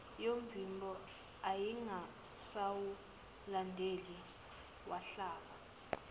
yomvimbo ayengasawulindele wahlaba